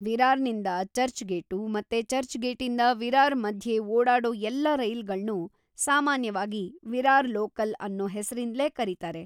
ವಿರಾರ್‌ನಿಂದ ಚರ್ಚ್‌ಗೇಟು ಮತ್ತೆ ಚರ್ಚ್‌ಗೇಟಿಂದ ವಿರಾರ್‌ ಮಧ್ಯೆ ಓಡಾಡೋ ಎಲ್ಲ ರೈಲುಗಳ್ನೂ ಸಾಮಾನ್ಯವಾಗಿ ವಿರಾರ್‌ ಲೋಕಲ್‌ ಅನ್ನೂ ಹೆಸ್ರಿಂದ್ಲೇ ಕರೀತಾರೆ.